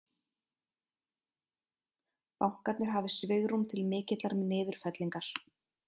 Bankarnir hafi svigrúm til mikillar niðurfellingar